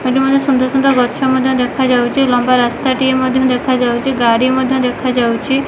ଏଠି ମଧ୍ୟ ସୁନ୍ଦର ସୁନ୍ଦର ଗଛ ମଧ୍ୟ ଦେଖାଯାଉଛି ଲମ୍ବା ରାସ୍ତାଟିଏ ମଧ୍ୟ ଦେଖାଯାଉଚି ଗାଡ଼ି ମଧ୍ୟ ଦେଖାଯାଉଛି।